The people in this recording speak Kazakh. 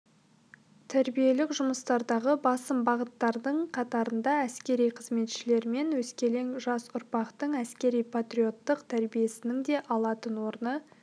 тәрбиелік жұмыстардағы басым бағыттардың қатарында әскери қызметшілер мен өскелең жас ұрпақтың әскери-патриоттық тәбиесінің де алатын орны